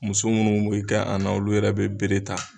Muso munnu mɛ kɛ an na olu yɛrɛ bɛ bere ta.